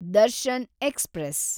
Darshan express